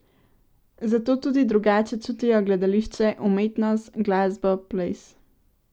Zato tudi drugače čutijo gledališče, umetnost, glasbo, ples.